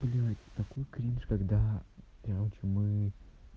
блядь такой кринж когда короче мы